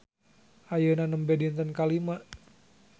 Ayeuna nembe dinten ka lima.